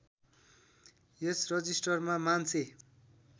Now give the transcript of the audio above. यस रजिस्टरमा मान्छे